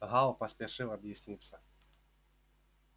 гаал поспешил объясниться